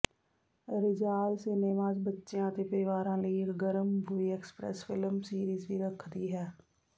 Rizal cinemas ਬੱਚਿਆਂ ਅਤੇ ਪਰਿਵਾਰਾਂ ਲਈ ਇਕ ਗਰਮ ਮੂਵੀ ਐਕਸਪ੍ਰੈਸ ਫਿਲਮ ਸੀਰੀਜ਼ ਵੀ ਰੱਖਦੀ ਹੈ